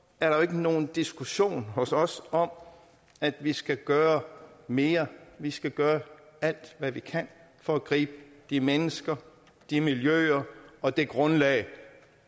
er der ikke nogen diskussion hos os om at vi skal gøre mere vi skal gøre alt hvad vi kan for at gribe de mennesker de miljøer og det grundlag